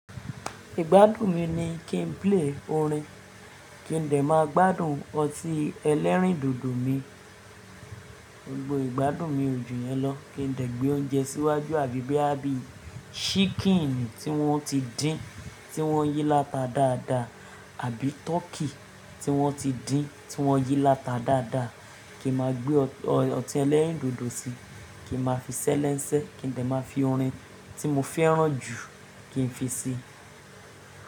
Ìgbádùn mi ni kí n play orin, kí n dẹ̀ máa gbádùn ọtí ẹlẹ́rìndòdò mi. Gbogbo ìgbádùn mi òjù yẹn lọ, kí n lè gbé oúnjẹ síwájú àbí bí i abìí ṣíkìnì tí wọ́n ti dín tí wọ́n yí láta dáadáa àbí tọ́kì tí wọ́n ti dín tí wọ́n yí láta dáadáa, kí n máa gbé ọtí ẹlẹ́rìndòdò síi, kí n máa fi ṣẹ́ lẹ́n sẹ́, kí n dẹ máa fi orin tí mo fẹ́ràn jù kí n fi si.